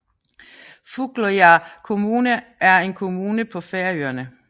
Fugloyar kommuna er en kommune på Færøerne